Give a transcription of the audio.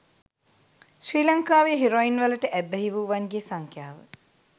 ශ්‍රී ලංකාවේ හෙරොයින්වලට ඇබ්බැහි වූවන්ගේ සංඛ්‍යාව